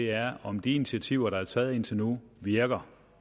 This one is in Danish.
er om de initiativer der er taget indtil nu virker